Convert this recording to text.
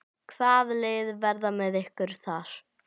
Hvaða lið verða með ykkur þar?